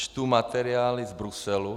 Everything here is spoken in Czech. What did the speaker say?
Čtu materiály z Bruselu.